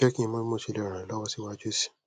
jeki mo bi mo se le ran e lowo si waju si